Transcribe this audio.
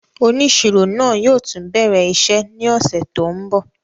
Oniṣiro naa yóò tun bẹrẹ iṣẹ ni ọsẹ to nbọ.